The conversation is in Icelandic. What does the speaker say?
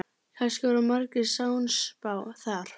Kannski var Margrét sannspá þar.